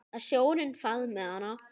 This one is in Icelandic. Að sjórinn faðmi hana.